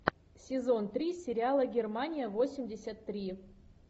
сезон три сериала германия восемьдесят три